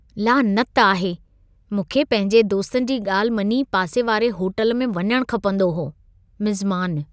लानत आहे। मूंखे पंहिंजे दोस्तनि जी ॻाल्हि मञी पासे वारे होटल में वञणु खपंदो हो। (मिज़मानु)